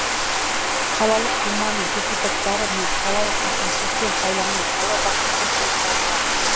қалалық думаның депутаттары мен қалалық әкімшіліктен сайланған қала басшысы болып табылады